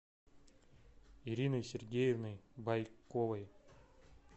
ириной сергеевной байковой